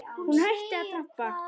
Hún hætti að trampa.